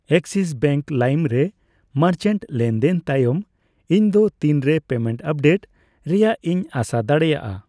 Axis bank ᱞᱟᱭᱤᱢ ᱨᱮ merchant ᱞᱮᱱᱫᱮᱱ ᱛᱟᱭᱚᱢ ᱤᱧ ᱫᱚ ᱛᱤᱱ ᱨᱮ ᱯᱮᱢᱮᱱᱴ ᱟᱯᱰᱮᱴ ᱨᱮᱭᱟᱜᱜᱤᱧ ᱟᱸᱥᱟ ᱫᱟᱲᱮᱭᱟᱜᱼᱟ ?